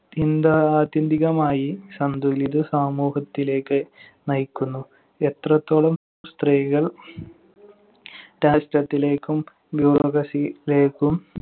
ത്യന്താ~ ആത്യന്തികമായി സന്തുലിത സമൂഹത്തിലേക്ക് നയിക്കുന്നു. എത്രത്തോളം സ്ത്രീകൾ രാഷ്ട്രത്തിലേക്കും bureaucracy ലേക്കും